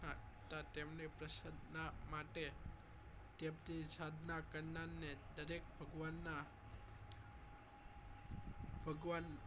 તો તેમની પ્રસન્ન માટે કે એમની સાધના કરનાર ને દરેક ભગવાન ના ભગવાન